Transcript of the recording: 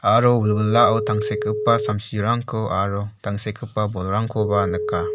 aro wilwilao tangsekgipa samsirangko aro tangsekgipa bolrangkoba nika.